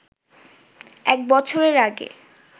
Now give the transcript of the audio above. এক বছরের আগে